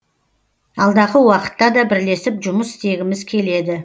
алдағы уақытта да бірлесіп жұмыс істегіміз келеді